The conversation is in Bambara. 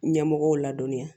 Ɲɛmɔgɔw la dɔnniya